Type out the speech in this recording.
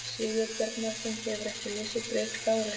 Sigurbjarnarson, hefurðu ekki lesið Bréf til Láru?